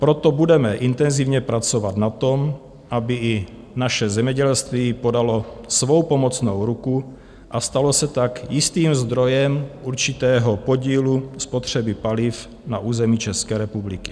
Proto budeme intenzivně pracovat na tom, aby i naše zemědělství podalo svou pomocnou ruku a stalo se tak jistým zdrojem určitého podílu spotřeby paliv na území České republiky.